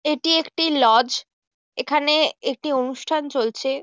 এটি একটু লজ | এখানে একটি অনুষ্ঠান চলছে ।